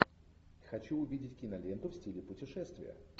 хочу увидеть киноленту в стиле путешествия